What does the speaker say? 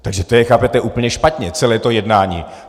Takže to je, chápete, úplně špatně, celé to jednání!